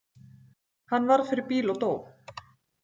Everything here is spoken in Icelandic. Hann varð fyrir bíl og dó.